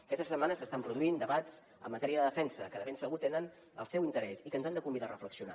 aquesta setmana s’estan produint debats en matèria de defensa que de ben segur tenen el seu interès i que ens han de convidar a reflexionar